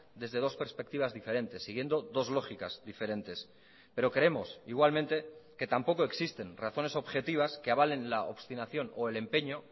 desde dos perspectivas diferentes siguiendo dos lógicas diferentes pero creemos igualmente que tampoco existen razones objetivas que avalen la obstinación o el empeño